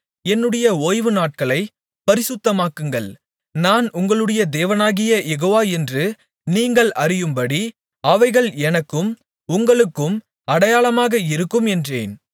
என்னுடைய ஓய்வுநாட்களைப் பரிசுத்தமாக்குங்கள் நான் உங்களுடைய தேவனாகிய யெகோவா என்று நீங்கள் அறியும்படி அவைகள் எனக்கும் உங்களுக்கும் அடையாளமாக இருக்கும் என்றேன்